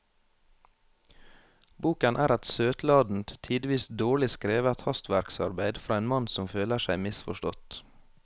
Boken er et søtladent, tidvis dårlig skrevet hastverksarbeid fra en mann som føler seg misforstått.